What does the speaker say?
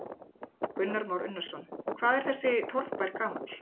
Kristján Már Unnarsson: Hvað er þessi torfbær gamall?